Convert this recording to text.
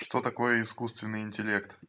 что такое искусственный интеллект